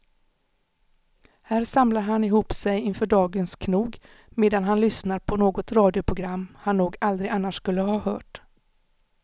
Här samlar han ihop sig inför dagens knog medan han lyssnar på något radioprogram han nog aldrig annars skulle ha hört.